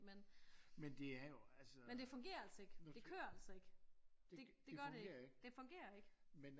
Men øh men det fungerer altså ikke det kører altså ikke det det gør det ikke det fungerer ikke